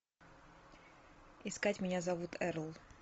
искать меня зовут эрл